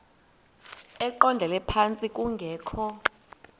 eqondele phantsi kungekho